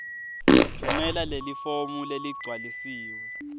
tfumela lelifomu leligcwalisiwe